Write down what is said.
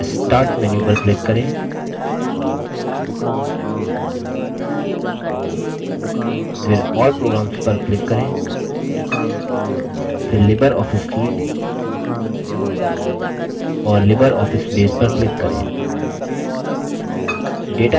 फिर screen के सबसे नीचे तल पर windows के start menu पर click करें फिर all programs पर click करें फिर libreoffice suite और libreoffice base पर click करें